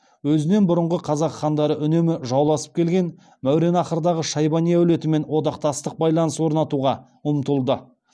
өзінен бұрынғы қазақ хандары үнемі жауласып келген мауараннахрдағы шайбани әулетімен одақтастық байланыс орнатуға ұмтылды